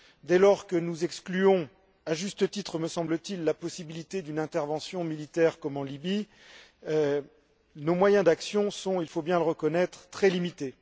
Dès lors que nous excluons, à juste titre me semble t il, la possibilité d'une intervention militaire comme en Libye, nos moyens d'action sont, il faut bien le reconnaître, très limités.